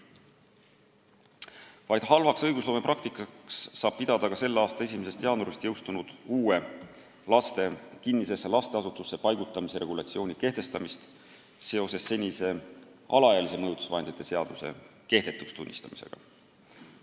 Vaid halvaks õigusloomepraktikaks saab pidada ka selle aasta 1. jaanuaril jõustunud uue laste kinnisesse lasteasutusse paigutamise regulatsiooni kehtestamist seoses senise alaealise mõjutusvahendite seaduse kehtetuks tunnistamisega.